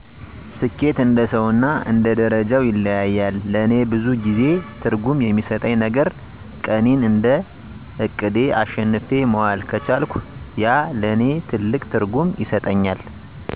ስኬት እንደሰው እና እንደ ደርጃው ይለያያል ለእኔ ብዙ ጊዜ ትርጉም የሚሰጠኝ ነገረ ቀኔን እንደ እቅዴ አሸንፌ መዋል ከቻልኩ ያ ለእኔ ትልቅ ትርጉም ይሰጠኛል።